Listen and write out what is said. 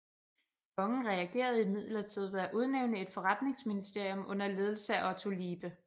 Kongen reagerede imidlertid ved at udnævne et forretningsministerium under ledelse af Otto Liebe